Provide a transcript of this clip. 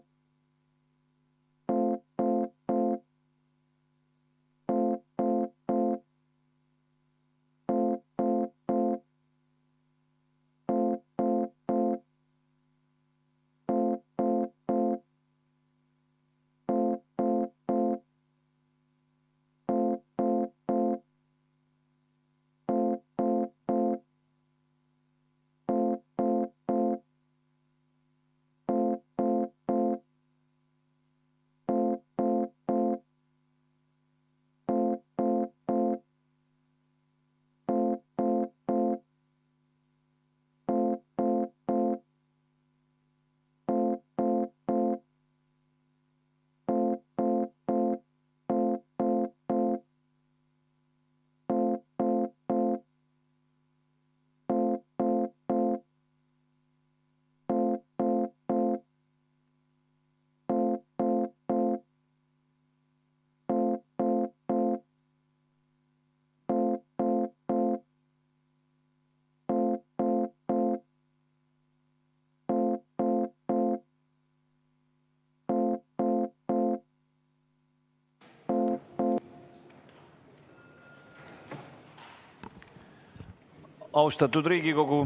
Austatud Riigikogu!